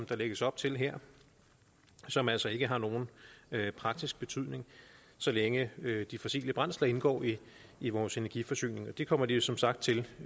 der lægges op til her som altså ikke har nogen praktisk betydning så længe de fossile brændsler indgår i vores energiforsyning og det kommer de jo som sagt til